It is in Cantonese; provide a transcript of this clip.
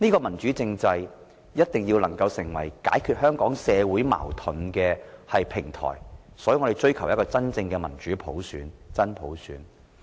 民主政制必須成為解決香港社會矛盾的平台，所以我們追求真正的民主普選，即真普選。